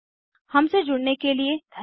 हमसे जुड़ने के लिए धन्यवाद